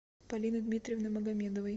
полины дмитриевны магомедовой